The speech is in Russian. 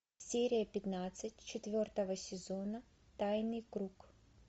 серия пятнадцать четвертого сезона тайный круг